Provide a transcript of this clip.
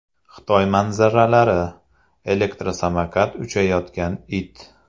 Xitoy manzaralari: Elektrosamokat uchayotgan it .